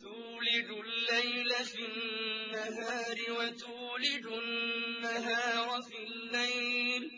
تُولِجُ اللَّيْلَ فِي النَّهَارِ وَتُولِجُ النَّهَارَ فِي اللَّيْلِ ۖ